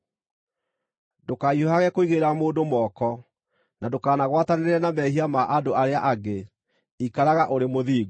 Ndũkahiũhage kũigĩrĩra mũndũ moko, na ndũkanagwatanĩre na mehia ma andũ arĩa angĩ. Ikaraga ũrĩ mũthingu.